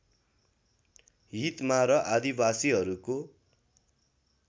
हितमा र आदिवासीहरूको